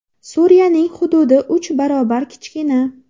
Suriyaning hududi uch barobar kichkina.